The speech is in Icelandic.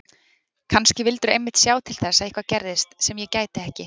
Kannski vildirðu einmitt sjá til þess að eitthvað gerðist sem ég gæti ekki